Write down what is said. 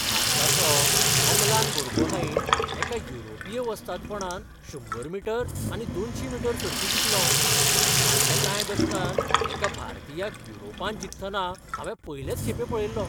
भारताचो अमलान बोर्गोहाइन एका युरोपीय वस्तादपणांत शंबर मीटर आनी दोनशी मीटर सर्ती जिखलो. फाटल्या कांय दशकांत एका भारतीयाक युरोपांत जिखतना हांवें पयलेच खेपे पळयल्लो.